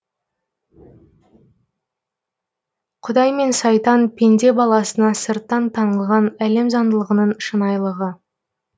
құдай мен сайтан пенде баласына сырттан таңылған әлем заңдылығының шынайылығы